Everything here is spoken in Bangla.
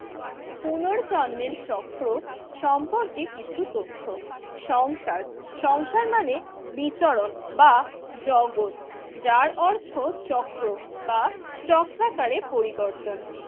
পুনর্জন্মের চক্র সম্পর্কে কিছু তথ্য, সংসার সংসার মানে বিচরণ বা জগত যার অর্থ চক্র বা চক্রাকারে পরিবর্তন।